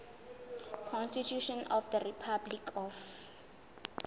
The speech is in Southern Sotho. constitution of the republic of